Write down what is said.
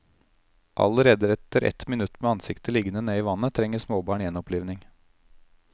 Allerede etter ett minutt med ansiktet liggende ned i vannet trenger småbarn gjenopplivning.